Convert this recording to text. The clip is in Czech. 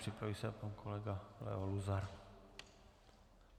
Připraví se pan kolega Leo Luzar.